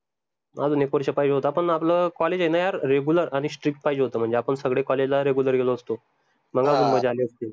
अजून एक वर्ष पाहिजे होता पन आपलं college आहे न यार regular आनि strict पाहिजे होत म्हनजे आपन सगडे college ला regular गेलो असतो मग मजा अली असती